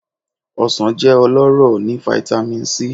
òsàn jẹ ọlọrọ ni fitamì c